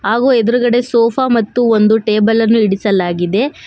ಹಾಗು ಎದ್ರುಗಡೆ ಸೋಫಾ ಮತ್ತು ಒಂದು ಟೇಬಲ್ ಅನ್ನು ಹಿಡಿಸಲಾಗಿದೆ.